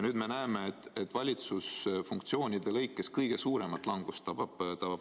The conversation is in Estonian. Nüüd me näeme, et valitsusfunktsioonide lõikes tabab haridust kõige suurem langus haridus.